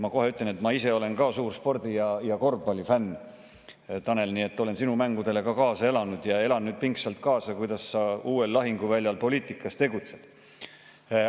Ma kohe ütlen, et ma ise olen ka suur spordi‑ ja korvpallifänn, Tanel, nii et olen sinu mängudele kaasa elanud ja elan nüüd pingsalt kaasa sellele, kuidas sa uuel lahinguväljal, poliitikas, tegutsed.